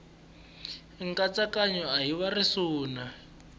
nkatsakanyo a hi wa risuna